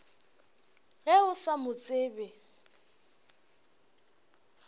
ge o sa mo tsebe